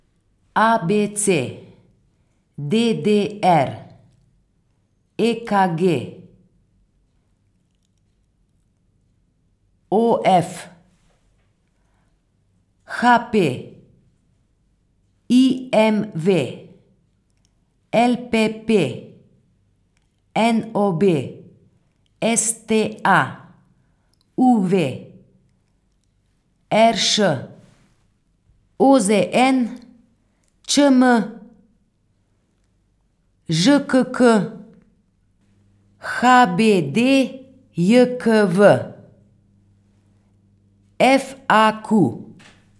A B C; D D R; E K G; O F; H P; I M V; L P P; N O B; S T A; U V; R Š; O Z N; Č M; Ž K K; H B D J K V; F A Q.